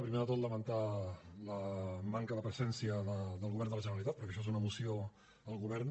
primer de tot lamentar la manca de presència del govern de la generalitat perquè això és una moció al govern